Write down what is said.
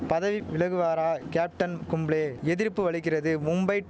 பதவி விலகுவாரா கேப்டன் கும்ளே எதிர்ப்பு வலுக்கிறது மும்பை